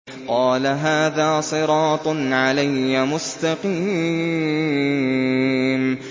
قَالَ هَٰذَا صِرَاطٌ عَلَيَّ مُسْتَقِيمٌ